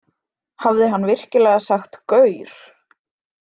Hafði hann virkilega sagt gaur?